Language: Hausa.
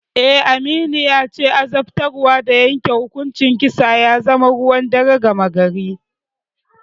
Eh, Aminu yace azabtarwa da yanke hukuncin kisa ya zama ruwan dare gama gari.